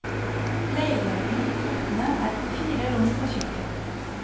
Leiligheten i trettende er på fire rom og kjøkken.